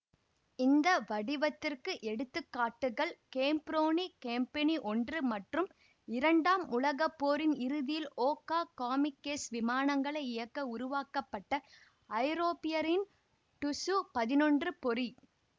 இந்த வடிவத்திற்கு எடுத்துக்க்காட்டுகள் கேப்ரோனி கேம்பினி ஒன்று மற்றும் இரண்டாம் உலகப்போரின் இறுதியில் ஓக்கா காமிக்கேஸ் விமானங்களை இயக்க உருவாக்கப்பட்ட ஜப்பானியரின் டுஸு பதினொன்று பொறி